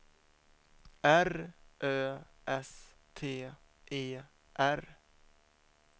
R Ö S T E R